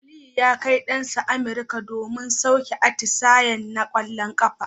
Aliyu ya Kai Dan sa American domin saukar atisayen na kwallon kafa